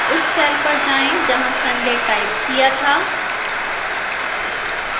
उस cell पर जाएं जहां sunday टाइप किया था